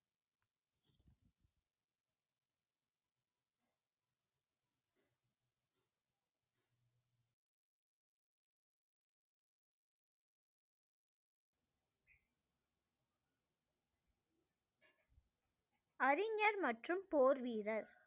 அறிஞர் மற்றும் போர் வீரர்